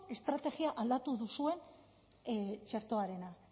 estrategia aldatu duzuen txertoarena